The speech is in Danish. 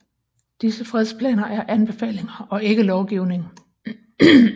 Disse frekvensplaner er anbefalinger og ikke lovgivning